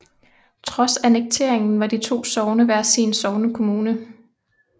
Trods annekteringen var de to sogne hver sin sognekommune